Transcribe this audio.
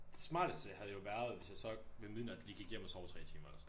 Det smarteste havde jo været hvis jeg så ved midnat lige gik hjem og så 3 timer eller sådan noget